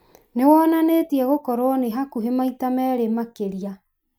nĩ wonanĩtie gũkorũo nĩ hakuhĩ maita merĩ makĩria